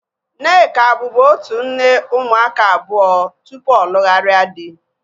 Nneka bubu otu nne ụmụaka abụọ tupu ọ lugharia dị